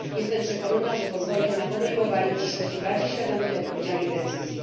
Jestem przekonana, że pozwoli to na podejmowanie w przyszłości bardziej świadomych i odpowiedzialnych decyzji.